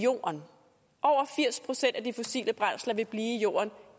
over firs procent af de fossile brændsler vil blive i jorden